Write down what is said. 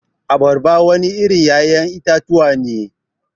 Abarba wani irin ya'yan itatuwa ne.